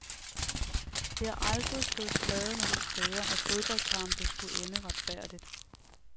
Det har aldrig stået skrevet nogen steder, at fodboldkampe skulle ende retfærdigt.